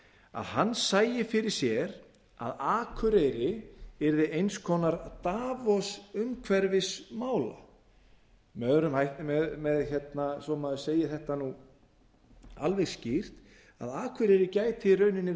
að hann sæi fyrir sér að akureyri yrði eins konar davos umhverfismála og svo að maður segi þetta alveg skýrt að akureyri gæti í rauninni